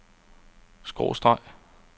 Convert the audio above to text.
skråstreg